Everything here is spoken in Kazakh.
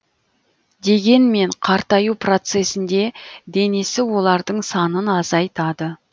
дегенмен қартаю процесінде денесі олардың санын азайтады